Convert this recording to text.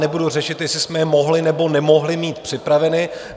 Nebudu řešit, jestli jste je mohli, nebo nemohli mít připraveny.